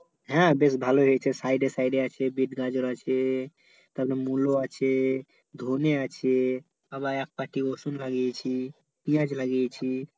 হ্যাঁ বেশ ভালোই হয়েছে side side আছে বেত গাজর আছে, তারপর মুলো আছে, ধনে আছে, আবার একপাটি রসুন লাগিয়েছি, পেয়াজ লাগিয়েছি